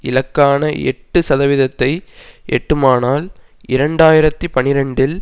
இலக்கான எட்டு சதவீதத்தை எட்டுமானால் இரண்டு ஆயிரத்தி பனிரெண்டில்